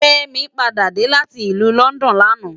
Femi pàdá dé láti ilù London làná